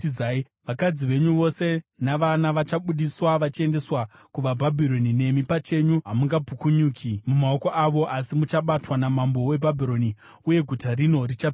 “Vakadzi venyu vose navana vachabudiswa vachiendeswa kuvaBhabhironi. Nemi pachenyu hamungapukunyuki mumaoko avo, asi muchabatwa namambo weBhabhironi; uye guta rino richapiswa.”